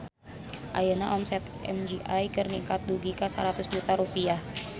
Ayeuna omset MGI ningkat dugi ka 100 juta rupiah